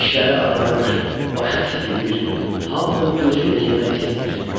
Dişləri ağarır, başı titrəyir, hamını gözü ilə yemək istəyir.